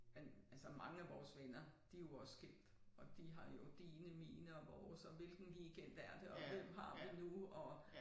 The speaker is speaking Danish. Men altså mange af vores venner de jo også skilt og de har jo dine mine og vores og hvilken weekend er det og hvem har det nu og